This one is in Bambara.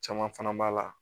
Caman fana b'a la